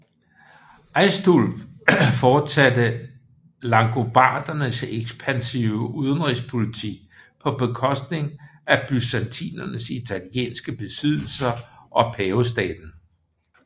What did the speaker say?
Aistulf fortsatte langobardernes ekspansive udenrigspolitik på bekostning af byzantinernes italienske besiddelser og Pavestaten